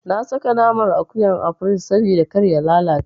Na saka naman akuyan a firij sabida kar ya lalace.